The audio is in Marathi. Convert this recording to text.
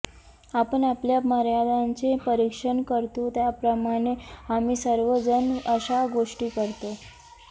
आपण आपल्या मर्यादांचे परीक्षण करतो त्याप्रमाणे आम्ही सर्व जण अशा गोष्टी करतो